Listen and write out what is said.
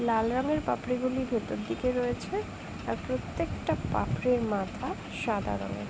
লাল রং এর পাপড়ি গুলি ভেতর দিকে রয়েছে। আর প্রত্যেকটা পাপড়ির মাথা সাদা রঙের।